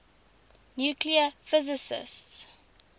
nuclear physics